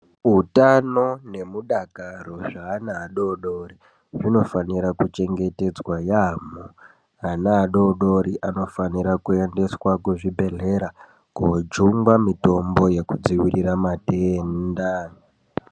Utano nemudakaro zvaana adori dori zvinofanira kuchengetedzwa yaamo. Ana adodori anofanika kuendeswa kuzvibhedhlera kojungwa mitombo yekudziirira matenda.